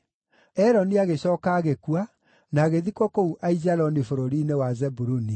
Eloni agĩcooka agĩkua, na agĩthikwo kũu Aijaloni bũrũri-inĩ wa Zebuluni.